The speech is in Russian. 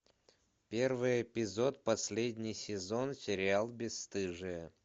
первый эпизод последний сезон сериал бесстыжие